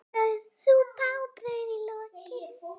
Súpa og brauð í lokin.